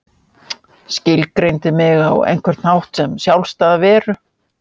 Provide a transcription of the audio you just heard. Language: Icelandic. Skilgreindi mig á einhvern hátt sem sjálfstæða veru.